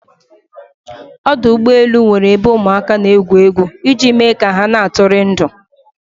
Ọdụ ụgbọ elu nwere ebe ụmụ aka n'egwu egwu iji me ka ha na atụri ndụ